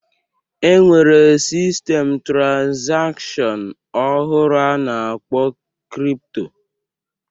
E nwere sistem trazakshọn ọhụrụ a na-akpọ kripto